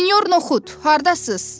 Senyor Nuxud, hardasız?